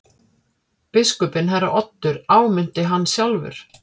Biskupinn herra Oddur áminnti hann sjálfur.